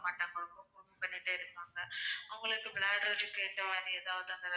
அவங்களுக்கு எதாவது.